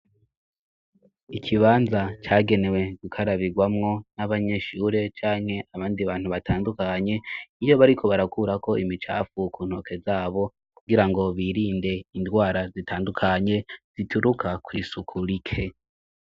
Ikibanza cagenewe gukarabirwamwo n'abanyeshure canke abandi bantu batandukanye iyo bariko barakura ko imicafu kuntoke zabo kugira ngo birinde indwara zitandukanye zituruka kw'isuku rike.